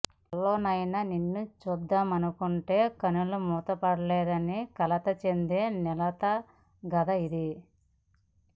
కలలోనైనా నిన్ను చూద్దామనుకొంటే కనులు మూతపడడంలేదని కలత చెందే నెలతగాథ ఇది